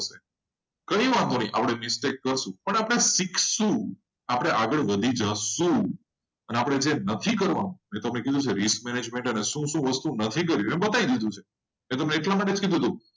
સાથે mistake થશે. ઘણી વાર પણ આપણે કંઈક શીખશું આપણે આગળ વધી જઈશું. અને જે નથી કરવાનો એરી arrangement એ બતાવી દીધું. એટલે તમે એટલા માટે જ કીધું.